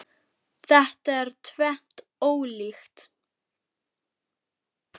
Þetta er tvennt ólíkt.